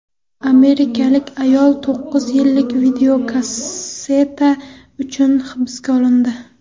Amerikalik ayol to‘qqiz yillik videokasseta uchun hibsga olindi.